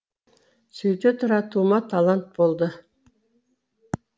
сөйте тұра тума талант болды